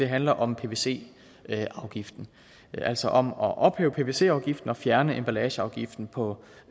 handler om pvc afgiften altså om at ophæve pvc afgiften og fjerne emballageafgiften på